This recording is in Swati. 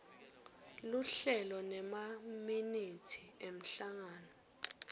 luhlelo nemaminithi emhlangano